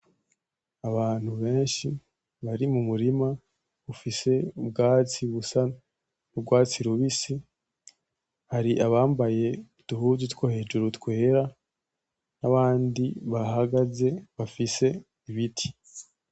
Abantu benshi bari mu murima ufise ubwatsi busa n'urwatsi rubisi, hari abambaye uduhuzu two hejuru twera n'abandi bahagaze bafite ibiti.